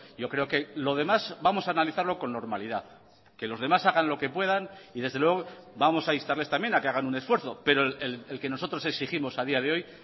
yo creo que lo demás vamos a analizarlo con normalidad que los demás hagan lo que puedan y desde luego vamos a instarles también a que hagan un esfuerzo pero el que nosotros exigimos a día de hoy